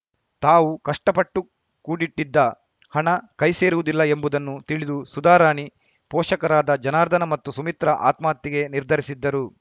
ತಾವು ಕಷ್ಟಪಟ್ಟು ಕೂಡಿಟ್ಟಿದ್ದ ಹಣ ಕೈ ಸೇರುವುದಿಲ್ಲ ಎಂಬುದನ್ನು ತಿಳಿದು ಸುಧಾರಾಣಿ ಪೋಷಕರಾದ ಜನಾರ್ದನ ಮತ್ತು ಸುಮಿತ್ರಾ ಆತ್ಮಹತ್ಯೆಗೆ ನಿರ್ಧರಿಸಿದ್ದರು